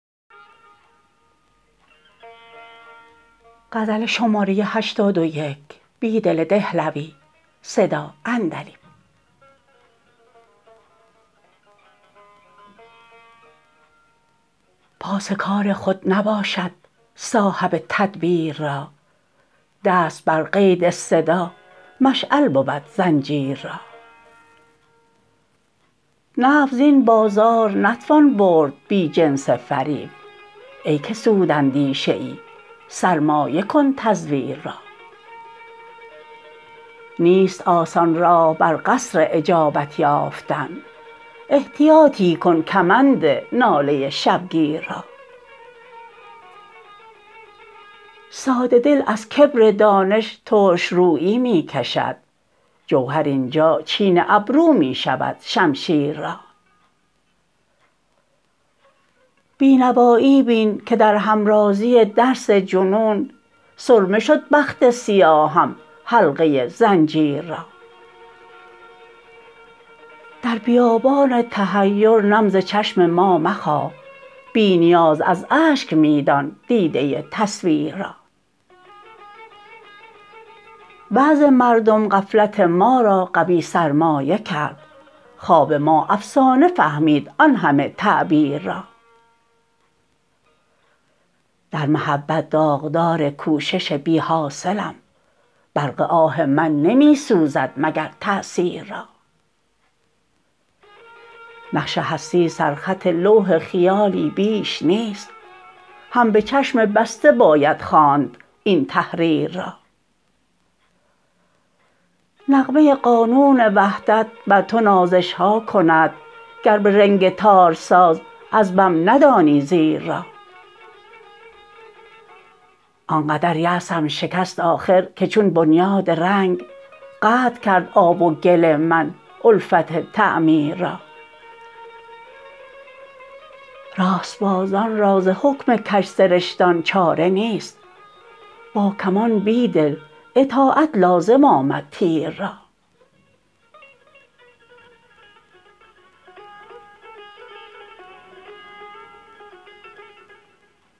پاس کار خود نباشد صاحب تدبیر را دست بر قید صدا مشعل بود زنجیررا نفع زین بازار نتوان برد بی جنس فریب ای که سود اندیشه ای سرمایه کن تزویر را نیست آسان راه بر قصر اجابت یافتن احتیاطی کن کمند ناله شبگیر را ساده دل ازکبر دانش ترش رویی می کشد جوهر اینجا چین ابرو می شود شمشیر را بینوایی بین که در همرازی درس جنون سرمه شد بخت سیاهم حلقه زنجیررا در بیابان تحیر نم ز چشم ما مخواه بی نیاز از اشک می دان دیدة تصویر را وعظ مردم غفلت ما را قوی سرمایه کرد خواب ما افسانه فهمید آن همه تعبیر را در محبت داغدارکوشش بی حاصلم برق آه من نمی سوزد مگرتأثیررا نقش هستی سرخط لوح خیالی بیش نیست هم به چشم بسته باید خواند این تحریررا نغمه قانون وحدت بر تو نازش شهاکند گر به رنگ تار ساز از بم ندانی زیر را آنقدریأسم شکست آخرکه چون بنیادرنگ قطع کرد آب وگل من الفت تعمیررا راست بازان را زحکم کج سرشتان چاره نیست باکمان بیدل اطاعت لازم آمد تیر را